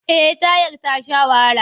Eh tayar ta sha wahala.